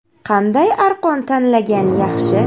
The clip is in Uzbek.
Qanday arqon tanlagan yaxshi?